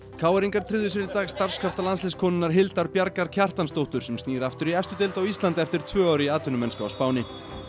k r ingar tryggðu sér í dag starfskrafta landsliðskonunnar Hildar Bjargar Kjartansdóttur sem snýr aftur í efstu deild á Íslandi eftir tvö ár í atvinnumennsku á Spáni